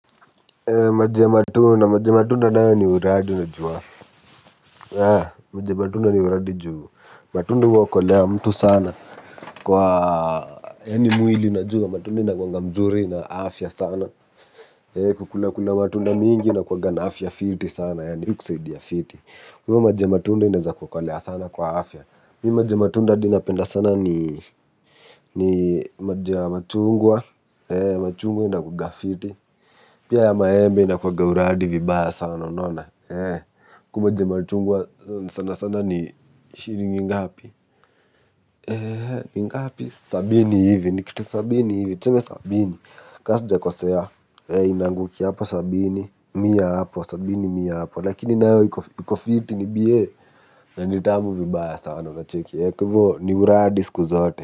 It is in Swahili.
Maji ya matunda. Maji ya matunda nayo ni uradi unajua. Matunda huokolea mtu sana. Kwa yaani mwili unajua. Matunda ina kwanga mzuri na afya sana. Kukula kula matunda mingi inakuaga na afya fiti sana. Yani hukusaidia fiti. Unajua maji ya matunda ineza kuokolea sana kwa afya. Mi maji ya matunda hadi napenda sana ni maji ya machungwa. Machungwa inakuaga fiti pia ya maembe inakuaga uradi vibaya sana. Huku maji ya machungwa sana sana ni shilingi ngapi. Ni ngapi sabini hivi kitu ka sabini tuseme sabini ka sijakosea, eeh inaangukia hapo sabini. Mia hapo lakini nayo iko fiti iko bie. Na ni tamu vibaya sana unacheki. Eeh kwa hivo ni uradi siku zote.